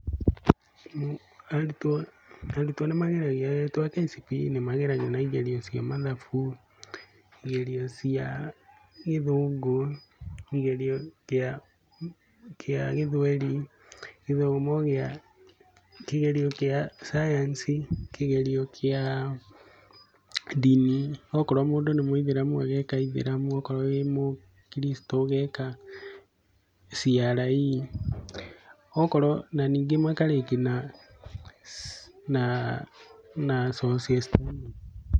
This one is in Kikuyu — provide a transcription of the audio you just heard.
Arutwo, arutwo nĩ mageragio arutwo a KCPE nĩ mageragio na igeranio cia mathabu, igerio cia gĩthungu, igerio kia kia gĩthweri, gĩthomo kĩa kigerio kĩa cayanici, kĩgerio kĩa ndini, okorwo mũndũ nĩ mũithĩramu ageka ithĩramu, okorwo wĩ mũkricitũ ũgeka CRE, okorwo na ningĩ makarĩkia na, na, na social studies.